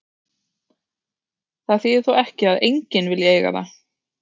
Það þýðir þó ekki að enginn vilji eiga það.